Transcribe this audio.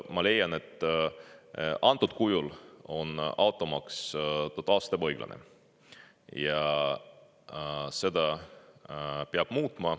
Ma leian, et antud kujul on automaks totaalselt ebaõiglane ja seda peab muutma.